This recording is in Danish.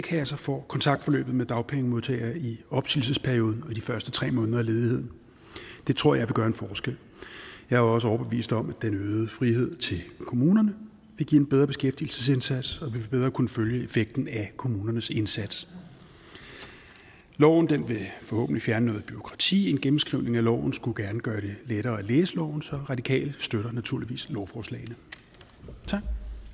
kasser får kontaktforløbet med dagpengemodtagere i opsigelsesperioden og i de første tre måneder af ledigheden det tror jeg vil gøre en forskel jeg er også overbevist om at den øgede frihed til kommunerne vil give en bedre beskæftigelsesindsats bedre kunne følge effekten af kommunernes indsats loven vil forhåbentlig fjerne noget bureaukrati en gennemskrivning af loven skulle gerne gøre det lettere at læse loven så radikale støtter naturligvis lovforslagene tak